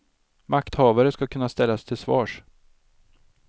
Makthavare skall kunna ställas till svars.